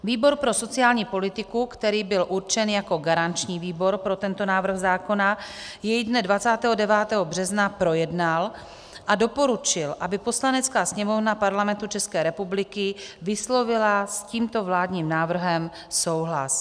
Výbor pro sociální politiku, který byl určen jako garanční výbor pro tento návrh zákona, jej dne 29. března projednal a doporučil, aby Poslanecká sněmovna Parlamentu České republiky vyslovila s tímto vládním návrhem souhlas.